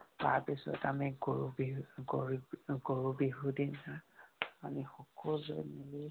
তাৰ পিছত আমি গৰু বিহু গৰু বিহু, গৰু বিহু দিনা, আমি সকলোৱে মিলি